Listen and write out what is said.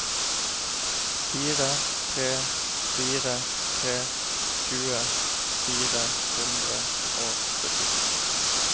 fire tre fire tre tjue fire hundre og syttito